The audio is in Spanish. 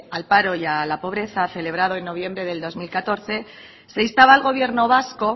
al paro y a la pobreza celebrado en noviembre del dos mil catorce se instaba al gobierno vasco